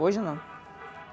Hoje não.